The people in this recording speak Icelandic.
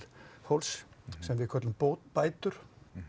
fólks sem við köllum bætur